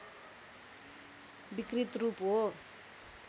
विकृत रूप हो